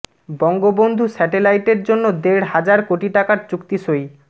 বঙ্গবন্ধু স্যাটেলাইটের জন্য দেড় হাজার কোটি টাকার চুক্তি সই